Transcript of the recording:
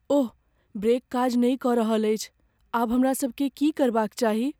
ओह, brake काज नहि कऽ रहल अछि। आब हमरा सबकेँ की करबाक चाही?